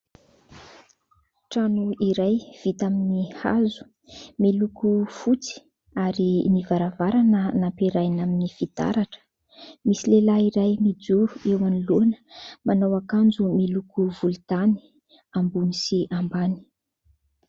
Trano iray vita amin'ny hazo miloko fotsy ary ny varavarana nampiarahana amin'ny fitaratra. Misy lehilahy iray mijoro eo anoloana, manao akanjo miloko volontany ambony ambany.